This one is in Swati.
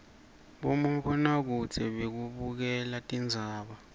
bomabonakudze bekubukela tindzaba